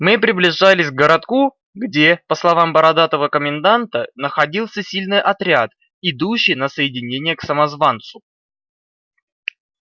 мы приближались к городку где по словам бородатого коменданта находился сильный отряд идущий на соединение к самозванцу